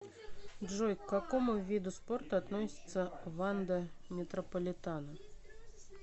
джой к какому виду спорта относится ванда метрополитано